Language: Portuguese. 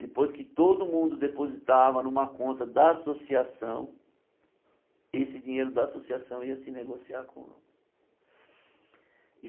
Depois que todo mundo depositava numa conta da associação, esse dinheiro da associação ia se negociar com.